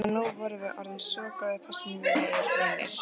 En nú vorum við orðnir svo góðir persónulegir vinir.